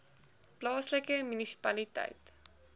plaaslike munisipaliteit